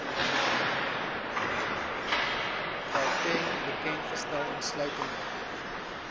gauteng bekendgestel insluitende